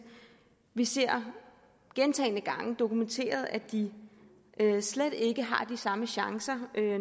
vi ser gentagne gange dokumenteret at de slet ikke har de samme chancer